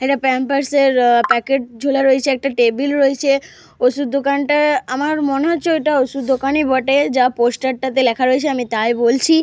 একটা Pampers packet ঝোলা রয়েছে। একটা টেবিল রয়েছে। ওষুধ দোকানটা আমার মনে হচ্ছে ওটা ওষুধ দোকানে বটে। যা পোস্টার - টাতে লেখা রয়েছে আমি তাই বলছি।